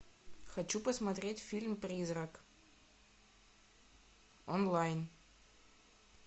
хочу посмотреть фильм призрак онлайн